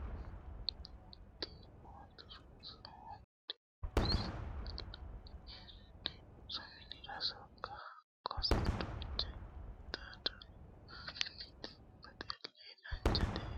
Daimmotu rosoho dirinsa iillanni heerenanni rosu minira sonke hakko dancha akatta dancha mimmitu baxile dancha egenno yannatenni codhittano gede assa dibushano.